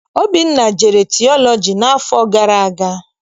Obinna jere tiọlọji n'afọ gara aga.